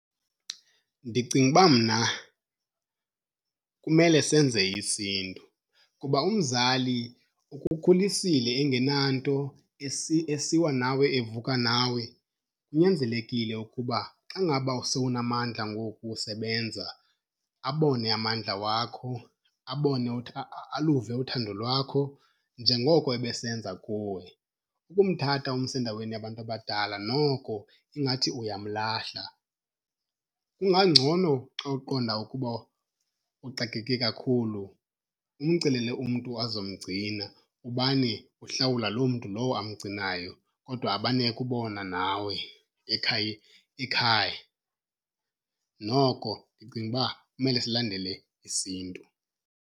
Ndicinga uba mna kumele senze isiNtu kuba umzali ukukhulisile engenanto, esiwa nawe evuka nawe. Kunyanzelekile ukuba xa ngaba sowunamandla ngoku usebenza abone amandla wakho, abone aluve uthando lwakho njengoko ebesenza kuwe. Ukumthatha umse endaweni yabantu abadala noko ingathi uyamlahla. Kungangcono xa uqonda ukuba uxakeke kakhulu umcelele umntu azomgcina ubane uhlawula loo mntu lowo amgcinayo, kodwa abane ekubona nawe ekhaya. Noko ndicinga uba kumele silandele isiNtu.